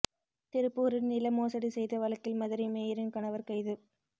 திருப்பூரில் நில மோசடி செய்த வழக்கில் மதுரை மேயரின் கணவர் கைது